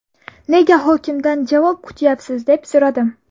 Nega hokimdan javob kutyapsiz?”, deb so‘radim.